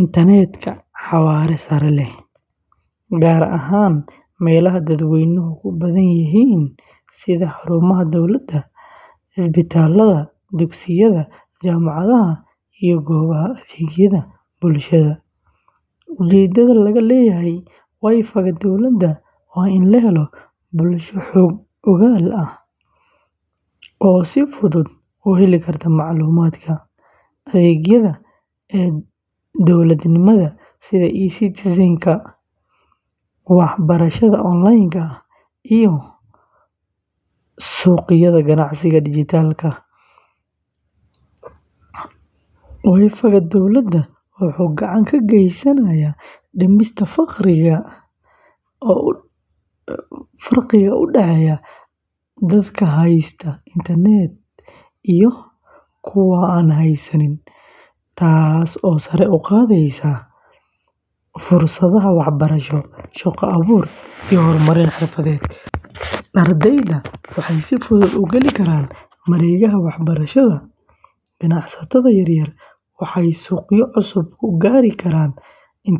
internet xawaare sare leh, gaar ahaan meelaha dadweynuhu ku badan yihiin sida xarumaha dowladda, isbitaalada, dugsiyada, jaamacadaha, iyo goobaha adeegyada bulshada. Ujeedada laga leeyahay WiFi-ga dowladda waa in la helo bulsho xog-ogaal ah oo si fudud u heli karta macluumaadka, adeegyada e-dowladnimada sida e-Citizen, waxbarashada online-ka ah, iyo suuqyada ganacsiga dhijitaalka ah. WiFi-ga dowladda wuxuu gacan ka geysanayaa dhimista farqiga u dhexeeya dadka haysta internet iyo kuwa aan haysan, taasoo sare u qaadaysa fursadaha waxbarasho, shaqo-abuur, iyo horumarin xirfadeed. Ardayda waxay si fudud u geli karaan mareegaha waxbarashada, ganacsatada yaryar waxay suuqyo cusub ku gaari karaan internetka.